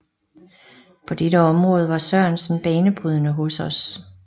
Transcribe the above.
På dette område var Sørensen banebrydende hos os